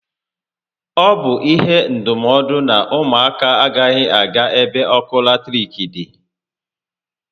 Ọ bụ ihe ndụmọdụ na ụmụ aka agaghị aga ebe ọkụ latiriki dị